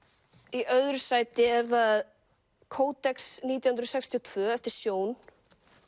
í öðru sæti er það CoDex nítján hundruð sextíu og tvö eftir Sjón